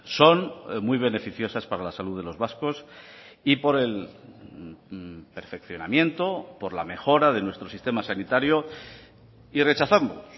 son muy beneficiosas para la salud de los vascos y por el perfeccionamiento por la mejora de nuestro sistema sanitario y rechazamos